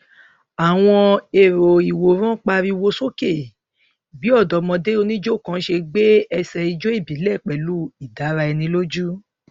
àwọn olùjọsìn náà sọ fáwọn àràádúgbò pé àwọn agbébọn náà ti jí mẹta nínú àwọn gbé lọ